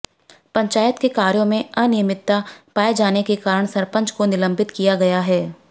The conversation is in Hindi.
पंचायत के कार्यों में अनियमितता पाये जाने के कारण सरपंच को निलम्बित किया गया है